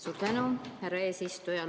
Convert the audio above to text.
Suur tänu, härra eesistuja!